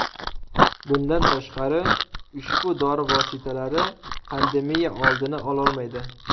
Bundan tashqari, ushbu dori vositalari pandemiya oldini ololmaydi.